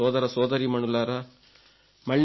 నా ప్రియ సోదరసోదరీమణులారా